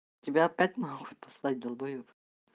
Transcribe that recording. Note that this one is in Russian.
тебя опять нахуй послать долбаёб